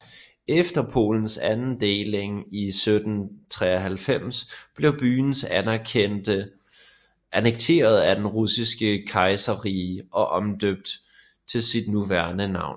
Efter Polens anden deling i 1793 blev byen annekteret af Det Russiske Kejserrige og omdøbt til sit nuværende navn